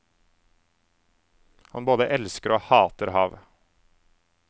Han både elsker og hater havet.